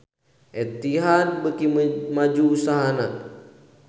Etihad beuki maju usahana